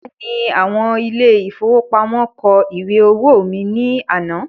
Bẹ́ẹ̀ni, àwọn ile-ìfowópamó kọ ìwé owó mí ní àná